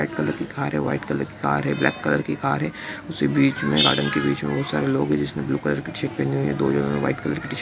red colour की car है white colour की कार है ब्लैक कलर की कार है उसके बीच मे गार्डन के बीच मे बहुत सारे लोग है जिस ने ब्लू कलर की शर्ट पहनी हुई है| दो जनों ने व्हाइट कलर की टी-शर्ट --